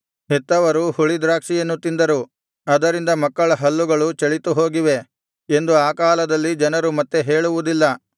ಹೆತ್ತವರು ಹುಳಿದ್ರಾಕ್ಷಿಯನ್ನು ತಿಂದರು ಅದರಿಂದ ಮಕ್ಕಳ ಹಲ್ಲುಗಳು ಚಳಿತುಹೋಗಿವೆ ಎಂದು ಆ ಕಾಲದಲ್ಲಿ ಜನರು ಮತ್ತೆ ಹೇಳುವುದಿಲ್ಲ